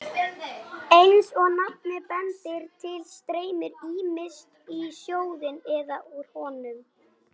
Eins og nafnið bendir til streymir ýmist í sjóðinn eða úr honum.